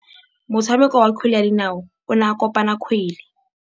Motshameki wa kgwele ya dinaô o ne a konopa kgwele.